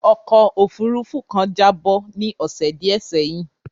Ọkó òfurufú kan jábọ́ ní ọ̀sè díẹ̀ sẹ́yìn.